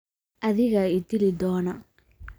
Adigaa i dili doona.